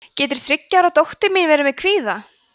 getur þriggja ára dóttir mín verið með kvíða